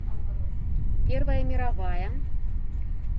первая мировая